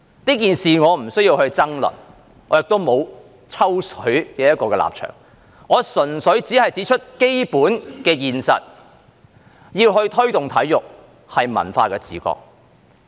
這件事我不需要爭論，我亦沒有"抽水"的立場，我純粹只是指出基本的現實，要推動體育是文化的自覺。